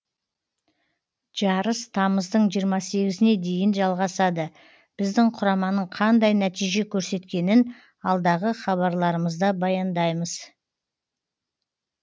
жарыс тамыздың жиырма сегізіне дейін жалғасады біздің құраманың қандай нәтиже көрсеткенін алдағы хабарларымызда баяндаймыз